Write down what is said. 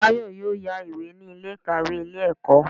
Táyọ̀ yóò yá ìwé ní Ilé ìkàwé Ilé ẹ̀kọ́